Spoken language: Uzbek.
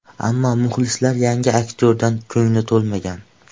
Ammo muxlislar yangi aktyordan ko‘ngli to‘lmagan.